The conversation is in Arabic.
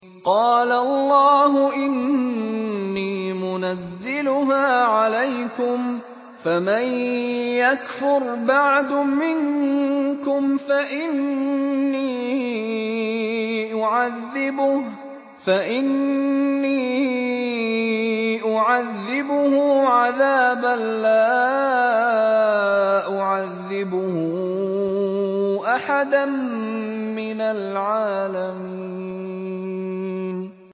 قَالَ اللَّهُ إِنِّي مُنَزِّلُهَا عَلَيْكُمْ ۖ فَمَن يَكْفُرْ بَعْدُ مِنكُمْ فَإِنِّي أُعَذِّبُهُ عَذَابًا لَّا أُعَذِّبُهُ أَحَدًا مِّنَ الْعَالَمِينَ